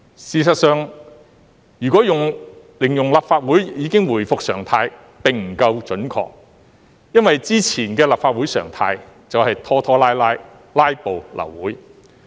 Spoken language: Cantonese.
事實上，如果形容立法會已經回復常態並不夠準確。因為之前的立法會常態便是拖拖拉拉，"拉布"、流會。